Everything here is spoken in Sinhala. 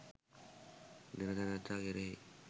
දෙන තැනැත්තා කෙරෙහි